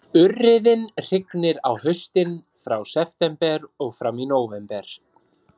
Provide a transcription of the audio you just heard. Urriðinn hrygnir á haustin, frá september og fram í nóvember